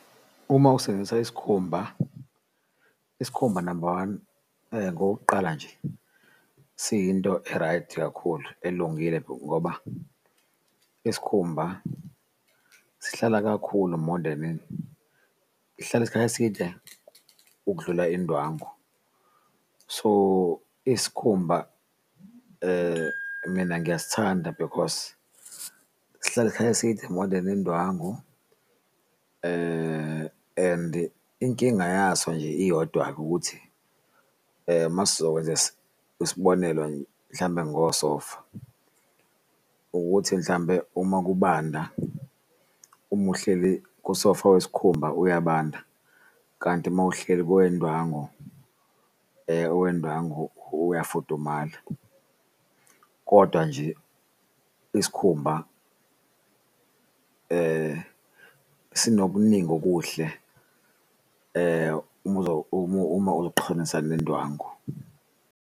Uma usebenzisa isikhumba, isikhumba number one, okokuqala nje siyinto e-right kakhulu elungile ngoba isikhumba sihlala kakhulu more than, sihlala isikhathi eside ukudlula indwangu, so isikhumba mina ngiyasithanda because, sihlala isikhathi eside more than indwangu. And inkinga yaso nje iyodwa-ke ukuthi masezokwenza isibonelo nje mhlambe ngosofa ukuthi mhlambe uma kubanda umuhleli kusofa wesikhumba uyabanda kanti mawuhleli kowendwango owendwango uyafudumala. Kodwa nje isikhumba sinokuningi okuhle uma uqhanisa nendwangu.